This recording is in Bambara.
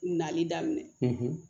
Nali daminɛ